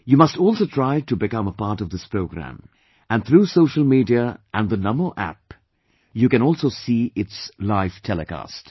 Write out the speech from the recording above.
You must also try to become a part of this program ...... and through social media and Namo App, you can also see its live telecast